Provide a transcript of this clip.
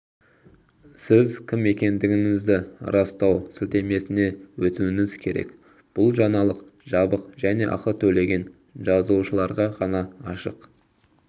сіз кім екендігіңізді растау сілтемесіне өтуіңіз керек бұл жаңалық жабық және ақы төлеген жазылушыларға ғана ашық